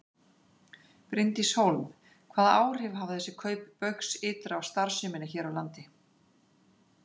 Bryndís Hólm: Hvaða áhrif hafa þessi kaup Baugs ytra á starfsemina hér á landi?